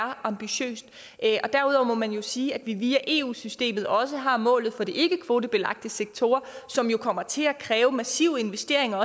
og ambitiøst derudover må man jo sige at vi via eu systemet også har målet for de ikkekvotebelagte sektorer som kommer til at kræve massive investeringer